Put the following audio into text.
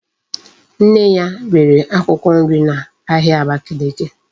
Nne ya rere akwukwo nri na ahia Abakiliki